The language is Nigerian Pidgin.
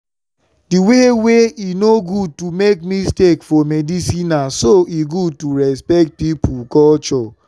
the way wey e no good to make mistake for medicinena so e good to respect pipo culture.